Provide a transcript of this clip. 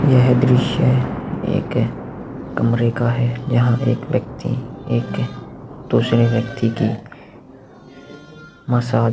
यह दृश्य एक कमरे का है जहाँ एक व्यक्ती एक दुसरे व्यक्ती की मसाज --